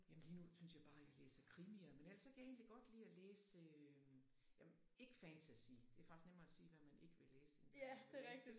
Jamen lige nu synes jeg bare jeg læser krimier men ellers så kan jeg egentlig godt lide at læse jamen ikke fantasy det faktisk nemmere at sige hvad man ikke vil læse end hvad man vil læse